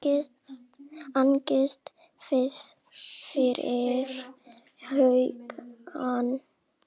Angist fyllir hugann.